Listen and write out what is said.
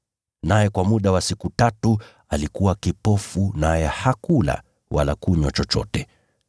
Naye kwa muda wa siku tatu alikuwa kipofu naye hakula wala kunywa chochote.